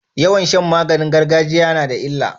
Yawan Shan maganin gargajiya nada illa